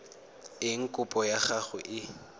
eng kopo ya gago e